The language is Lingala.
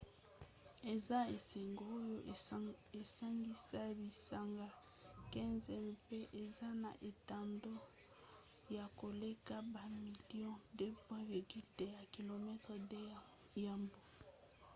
eza esanga oyo esangisa bisanga 15 mpe eza na etando ya koleka bamilio 2,2 ya km2 ya mbu